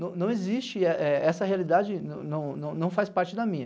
Não não é é existe, essa realidade não faz parte da minha.